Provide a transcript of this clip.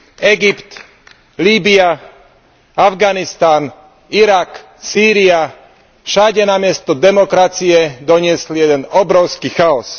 Egypt, Líbya, Afganistan, Irak, Sýria, všade namiesto demokracie doniesli jeden obrovský chaos.